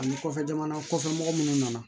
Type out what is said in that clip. Ani kɔfɛ jamana kɔfɛ mɔgɔ munnu nana